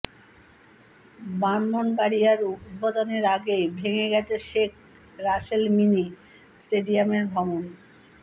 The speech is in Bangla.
ব্রাহ্মণবাড়িয়ায় উদ্বোধনের আগেই ভেঙে গেছে শেখ রাসেল মিনি স্টেডিয়ামের ভবণ